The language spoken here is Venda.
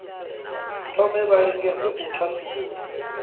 thome vha lingedze u thasulula